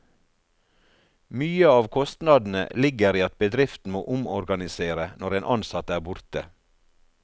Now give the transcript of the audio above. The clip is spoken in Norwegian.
Mye av kostnadene ligger i at bedriften må omorganisere når en ansatt er borte.